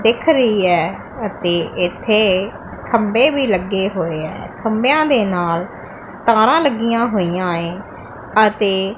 ਦਿੱਖ ਰਹੀ ਹੈ ਅਤੇ ਇੱਥੇ ਖੰਬੇ ਵੀ ਲੱਗੇ ਹੋਏ ਐ ਖੰਬਿਆਂ ਦੇ ਨਾਲ ਤਾਰਾਂ ਲੱਗੀਆਂ ਹੋਈਆਂ ਏ ਅਤੇ।